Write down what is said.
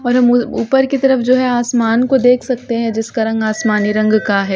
और हम उ ऊपर की तरफ जो है आसमान को देख सकते हैं जिसका रंग आसमानी रंग का है।